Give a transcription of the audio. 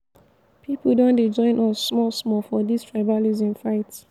pipu don dey join us small small for dis tribalism fight.